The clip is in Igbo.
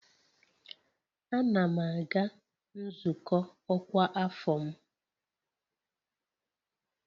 Ana m aga nzukọ ọkwa afọ m